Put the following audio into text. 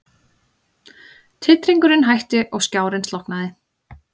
Titringurinn hætti og skjárinn slokknaði.